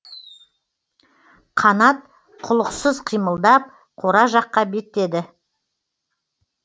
қанат құлықсыз қимылдап қора жаққа беттеді